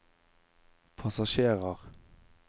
passasjerer